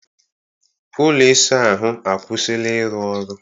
Ụlọ ịsa ahụ akwụsịla ịrụ ọrụ